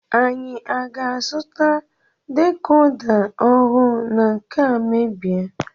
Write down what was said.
Anyị aga-azuta decoda ọhụụ na nkea mebie?